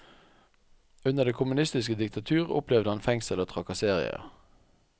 Under det kommunistiske diktatur opplevde han fengsel og trakasserier.